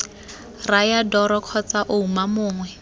raya dora kgotsa ouma mongwe